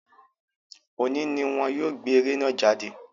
Òní ni wọ́n yóò gbé eré náà jáde